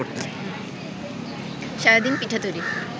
সারাদিন পিঠা তৈরি